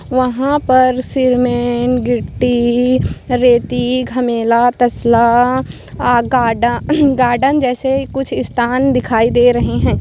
वहाँ पर सीमेंट गिट्टी रेती घमेला तसला गार्डन जैसे कुछ इसतान दिखाई दे रहे हैं।